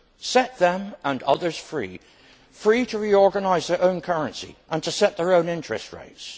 Set them and others free, free to reorganise their own currency and to set their own interest rates.